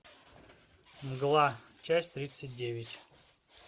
мгла часть тридцать девять